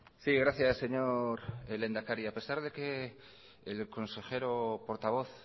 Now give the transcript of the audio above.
sí gracias señor lehendakari a pesar de que el consejero portavoz